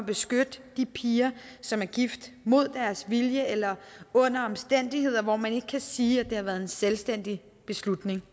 at beskytte de piger som er gift mod deres vilje eller under omstændigheder hvor man ikke kan sige at det har været en selvstændig beslutning